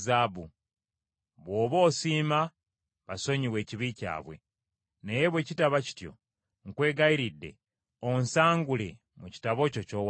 Bw’oba osiima basonyiwe ekibi kyabwe; naye bwe kitaba kityo, nkwegayirira onsangule mu kitabo kyo ky’owandiise.”